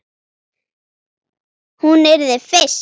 Hún yrði fyrst.